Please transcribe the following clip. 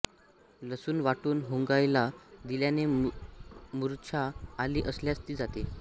लसूण वाटून हुंगायला दिल्याने मुर्छा आली असल्यास ती जाते